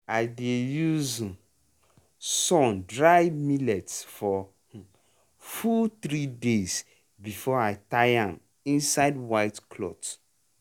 i dey use um sun dry millet for um full three days before i tie am inside white cloth.